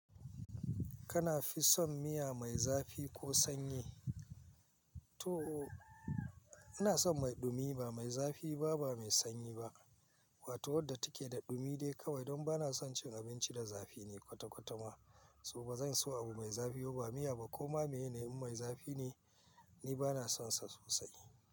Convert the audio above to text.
Kana fi son miya mai zafi ko sanyi? To, ina son mai dumi ba mai zafi ba, ba mai sanyi ba. Wato wadda take da dumi dai kawai. Don bana son cin abinci da zafi ne kwata-kwata ma. So bazan so abu mai zafi ba miya ba koma. In a yanayi mai zafi ne, ni bana sonsa sosai.